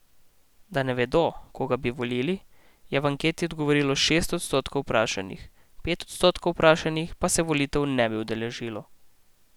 Da ne vedo, koga bi volili, je v anketi odgovorilo šest odstotkov vprašanih, pet odstotkov vprašanih pa se volitev ne bi udeležilo.